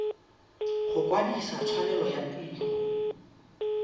go kwadisa tshwanelo ya tiro